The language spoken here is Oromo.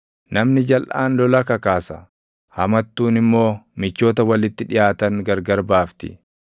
Namni jalʼaan lola kakaasa; hamattuun immoo michoota walitti dhiʼaatan gargar baafti.